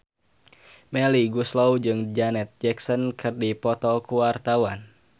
Melly Goeslaw jeung Janet Jackson keur dipoto ku wartawan